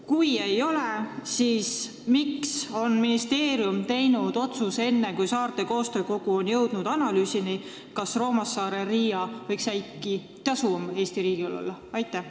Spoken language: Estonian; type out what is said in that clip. Kui ei ole, siis miks tegi ministeerium otsuse enne, kui Saarte Koostöökogu on jõudnud analüüsini, kas Roomassaare–Riia liin võiks äkki Eesti riigile tasuvam olla?